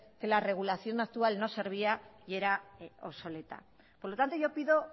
que la regulación actual no servía y era obsoleta por lo tanto yo pido